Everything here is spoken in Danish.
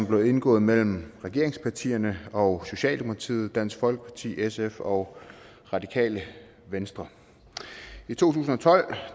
blev indgået mellem regeringspartierne og socialdemokratiet dansk folkeparti sf og radikale venstre i to tusind og tolv